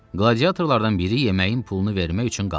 Qladiyatorlardan biri yeməyin pulunu vermək üçün qaldı.